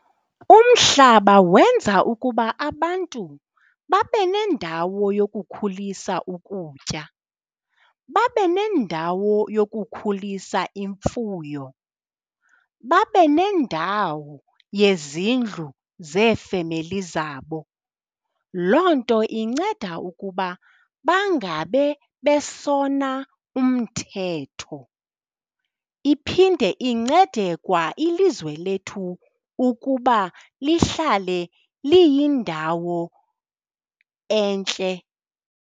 Umhlaba wenza ukuba abantu babe nendawo yokukhulisa ukutya, babe nendawo yokukhulisa imfuyo, babe nendawo yezindlu zeefemeli zabo. Loo nto inceda ukuba bangabe besona umthetho, iphinde incede kwa ilizwe lethu ukuba lihlale liyindawo entle.